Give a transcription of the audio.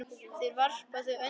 Þar varpa þau öndinni léttar.